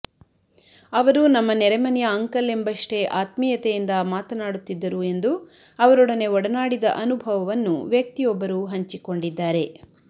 ಅವರು ನಮ್ಮ ನೆರೆ ಮನೆಯ ಅಂಕಲ್ ಎಂಬಷ್ಟೇ ಆತ್ಮೀಯತೆಯಿಂದ ಮಾತನಾಡುತ್ತಿದ್ದರು ಎಂದು ಅವರೊಡನೆ ಒಡನಾಡಿದ ಅನುಭವವನ್ನು ವ್ಯಕ್ತಿಯೊಬ್ಬರು ಹಂಚಿಕೊಂಡಿದ್ದಾರೆ